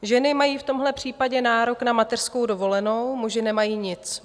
Ženy mají v tomto případě nárok na mateřskou dovolenou, muži nemají nic.